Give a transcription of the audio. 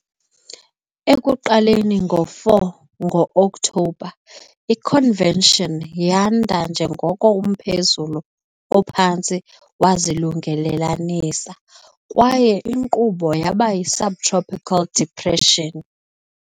Ekuqaleni ngo-4 Ngo-Okthobha, i-convection yanda njengoko umphezulu ophantsi wazilungelelanisa, kwaye inkqubo yaba yi-subtropical depression.